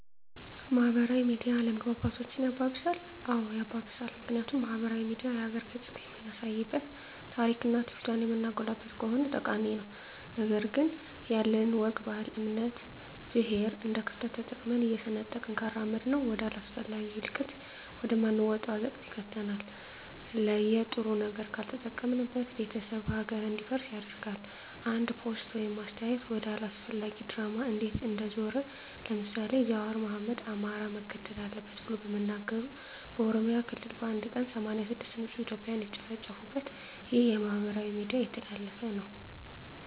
ማህበራዊ ሚዲያ አለመግባባቶችን ያባብሳል? አዎ ያባብሳል ምክንያቱም ማህበራዊ ሚዲያ የሀገርን ገፅታ የምናሳይበት ታሪክና ትውፊቷን የምናጎላበት ከሆነ ጠቃሚ ነው ነገር ግን ያለንን ወግ ባህል እምነት ብሔር እንደክፍተት ተጠቅመን እየሰነጠቅን ካራመድነው ወደ አላስፈላጊ እልቂት ወደ ማንወጣው አዘቅት ይከተናል የለጥሩ ነገር ካልተጠቀምንበት ቤተሰብ ሀገር እንዲፈርስ ያደርጋል አንድ ፖስት ወይም አስተያየት ወደ አላስፈላጊ ድራማ እንዴት እንደዞረ ለምሳሌ ጃዋር አህመድ አማራ መገደል አለበት ብሎ በመናገሩ በኦሮሚያ ክልል በአንድ ቀን 86 ንፁህ እትዮጵያን የተጨፈጨፉበት ይህ በማህበራዊ ሚዲያ የተላለፈ ነው